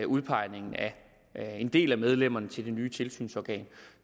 udpegningen af en del af medlemmerne til det nye tilsynsorgan